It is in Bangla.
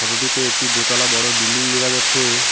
ফোটো -টিতে একটি দোতলা বড় বিল্ডিং দেখা যাচ্ছে।